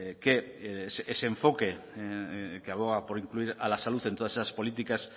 que ese enfoque que aboga por incluir a la salud en todas esas políticas